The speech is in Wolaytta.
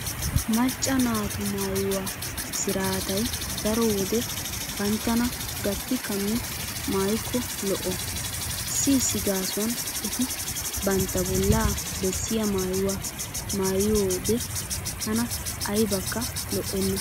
Maccca naatu maayuwa siraatay daro wode banttana gatti kammi maayikko lo'o. Issi issi gaasuwan eti bantta bollaa bessiya maayuwa maayiyode tana aybakka lo'enna.